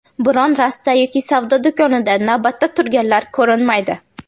Biron rasta yoki savdo do‘konida navbatda turganlar ko‘rinmaydi.